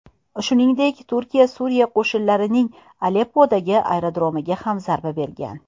Shuningdek, Turkiya Suriya qo‘shinlarining Aleppodagi aerodromiga ham zarba bergan .